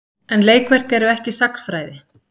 En leikverk eru ekki sagnfræði.